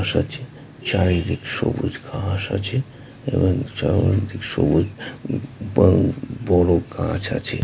চারিদিক সবুজ ঘাস আছে এবং সবুজ আ- বড়ো বড়ো গাছ আছে ।